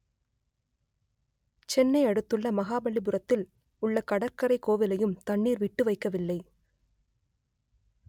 செ‌ன்னை அடு‌த்து‌ள்ள மகாப‌ல்லிபுர‌த்‌தி‌ல் உ‌ள்ள கட‌ற்கரை கோ‌விலையு‌ம் த‌ண்‌ணீ‌ர் ‌வி‌ட்டு வை‌க்க‌வி‌ல்லை